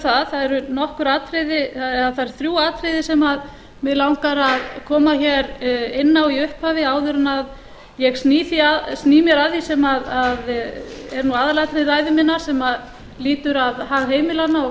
það það eru þrjú atriði sem mig langar að koma hér inn á í upphafi áður en ég sný mér að því sem er nú aðalatriði ræðu minnar sem lýtur að hag heimilanna